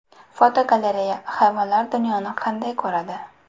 Fotogalereya: Hayvonlar dunyoni qanday ko‘radi?.